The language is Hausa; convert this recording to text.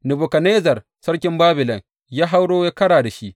Nebukadnezzar sarkin Babilon ya hauro ya kara da shi.